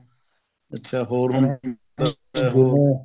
ਅੱਛਾ ਹੋਰ ਹੁਣ